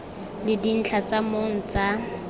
le dintlha tsa mong tsa